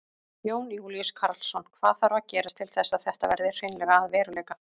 Jón Júlíus Karlsson: Hvað þarf að gerast til þess að þetta verði hreinlega að veruleika?